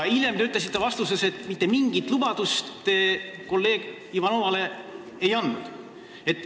Hiljem te ütlesite vastates, et mitte mingit lubadust te kolleeg Ivanovale ei ole andnud.